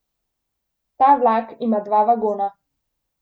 Ta vlak ima dva vagona.